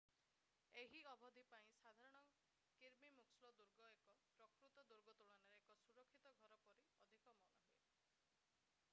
ଏହି ଅବଧି ପାଇଁ ସାଧାରଣ କିର୍ବି ମୁକ୍ସଲୋ ଦୁର୍ଗ ଏକ ପ୍ରକୃତ ଦୁର୍ଗ ତୁଳନାରେ ଏକ ସୁରକ୍ଷିତ ଘର ପରି ଅଧିକ ମନେହୁଏ